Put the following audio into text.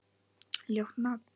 Ljótt nafn.